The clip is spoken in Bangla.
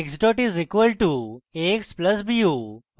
x dot is equal to a x plus b u